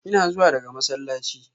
Ina zuwa daga masallaci.